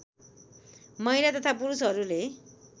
महिला तथा पुरुषहरूले